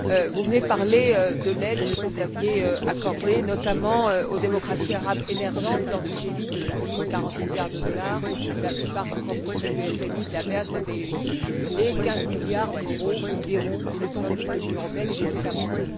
Vous venez de parler de l'aide que vous aviez accordée, notamment aux démocraties arabes émergentes, lors du G8 de Deauville quarante milliards de dollars, pour la plupart sous forme de prêts du FMI, de la BERD, de la BEI, et quinze milliards d'euros environ, somme provenant de l'Union européenne et des États membres.